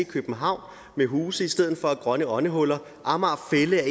københavn med huse i stedet for at have grønne åndehuller amager fælled er